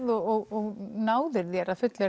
og náðir þér að fullu